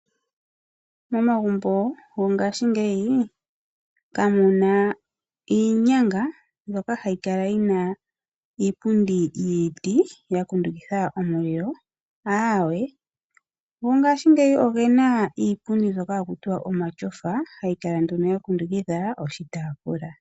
Momagumbo go ngashingeyi kamuna iinyanga mbyoka hayi kala yi na iipundi yiiti ya kundukidha omulilo, aawe. Mongashingeyi ogena iipundi mbyoka haku tiwa omashofa, hayi kala nduno ya kundukidha oshitafula.